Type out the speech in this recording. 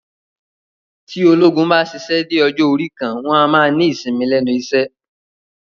Tí ológun bá ṣíṣe dé ọjọ́ orí kan, wọn a máa ní ìsinmi lẹ́nu iṣẹ́